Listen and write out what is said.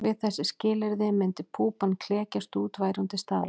Við þessi skilyrði myndi púpan klekjast út væri hún til staðar.